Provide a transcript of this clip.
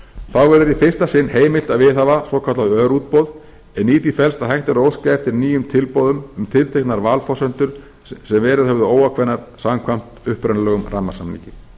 þá verður í fyrsta sinn heimilt að viðhafa svokallað örútboð en í því felst að hægt er að óska eftir nýjum tilboðum um tilteknar valforsendur sem verið höfðu óákveðnar samkvæmt upprunalegum rammasamningi